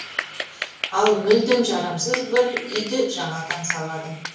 ал мүлдем жарамсыз бір үйді жаңадан салады